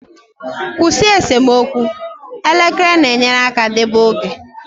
Kwụsị esemokwu, elekere na-enyere aka deba oge.